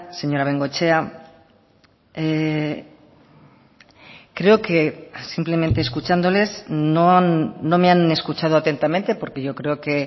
señora bengoechea creo que simplemente escuchándoles no me han escuchado atentamente porque yo creo que